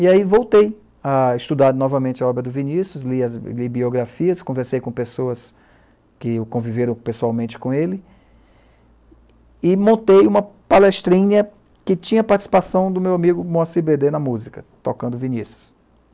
E aí voltei a estudar novamente a obra do Vinícius, li as biografias, conversei com pessoas que o conviveram pessoalmente com ele e montei uma palestrinha que tinha participação do meu amigo Moacir Bedê na música, tocando Vinícius.